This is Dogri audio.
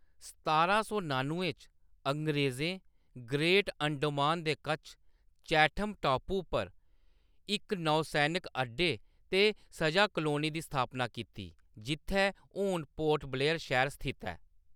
सतारां सौ नानुएं च, अंग्रेज़ें ग्रेट अंडमान दे कच्छ चैठम टापू पर इक नौसैनिक अड्डे ते सजा कालोनी दी स्थापना कीती, जित्थैं हून पोर्ट ब्लेयर शैह्‌र स्थित ऐ।